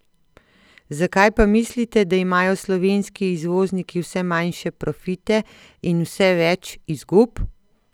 Zakaj pa mislite, da imajo slovenski izvozniki vse manjše profite in vse več izgub?